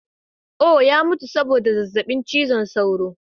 Oh! ya mutu saboda zazzabin cizon sauro.